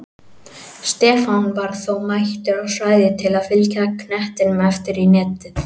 Stefán var þó mættur á svæðið til að fylgja knettinum eftir í netið!